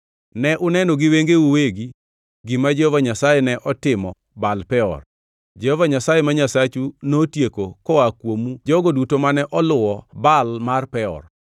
Ne uneno gi wengeu uwegi gima Jehova Nyasaye ne otimo Baal Peor. Jehova Nyasaye ma Nyasachu notieko koa kuomu jogo duto mane oluwo Baal mar Peor,